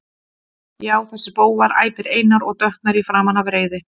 Já, þessir bófar, æpir Einar og dökknar í framan af reiði.